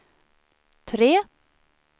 tre